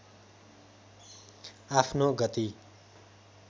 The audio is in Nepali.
आफ्नो गति